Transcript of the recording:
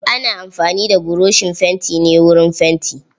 Ana amfani da buroshin fanti ne wurin fanti.